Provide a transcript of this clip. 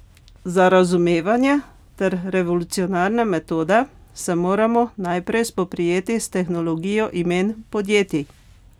Za razumevanje ter revolucionarne metode se moramo najprej spoprijeti s tehnologijo imen podjetij.